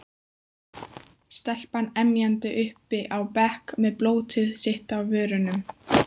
Stelpan emjandi uppi á bekk með blótið sitt á vörunum.